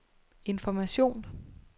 information